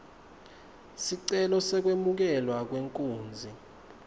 sicelo sekwemukelwa kwenkunzi